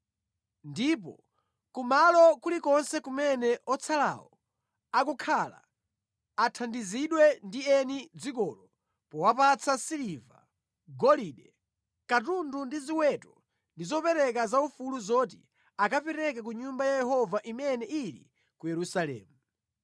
Ndipo kumalo kulikonse kumene otsalawo akukhala, athandizidwe ndi eni dzikolo powapatsa siliva, golide, katundu ndi ziweto ndi zopereka za ufulu zoti akapereke ku Nyumba ya Yehova imene ili ku Yerusalemu.’ ”